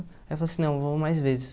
Aí eu falei assim, não, vou mais vezes.